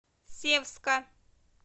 севска